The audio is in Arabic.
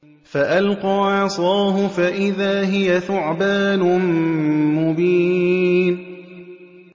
فَأَلْقَىٰ عَصَاهُ فَإِذَا هِيَ ثُعْبَانٌ مُّبِينٌ